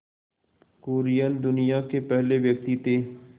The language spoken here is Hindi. कुरियन दुनिया के पहले व्यक्ति थे